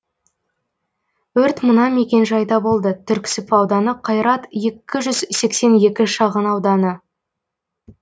өрт мына мекен жайда болды түрксіб ауданы қайрат екі жүз сексен екі шағын ауданы